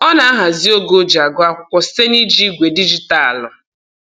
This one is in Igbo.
Ọ na-ahazi oge o ji agụ akwụkwọ site na-iji igwe dijitaalụ